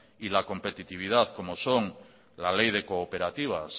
y la competitividad como son la ley de cooperativas